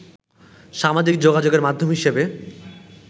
সামাজিক যোগাযোগের মাধ্যম হিসেবে